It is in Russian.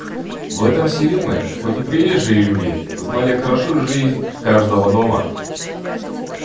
в этом селе мы хоть и приезжие люди знали хорошо жизнь каждого дома